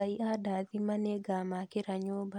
Ngai andathima nĩngamakĩra nyũmba